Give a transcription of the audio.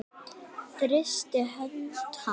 Þrýsti hönd hans.